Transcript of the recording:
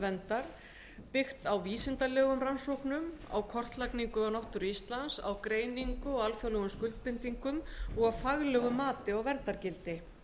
verndar byggt á vísindalegum rannsóknum og kortlagningu á náttúru íslands greiningu á alþjóðlegum skuldbindingum og faglegu mati á verndargildi